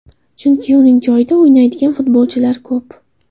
Chunki uning joyida o‘ynaydigan futbolchilar ko‘p.